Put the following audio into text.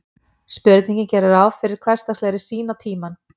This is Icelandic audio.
Spurningin gerir ráð fyrir hversdagslegri sýn á tímann.